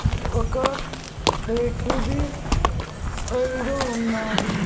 ఒక red the side ఉన్నాది.